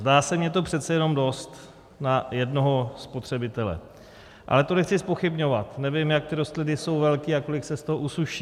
Zdá se mně to přece jenom dost na jednoho spotřebitele, ale to nechci zpochybňovat, nevím, jak ty rostliny jsou velké a kolik se z toho usuší.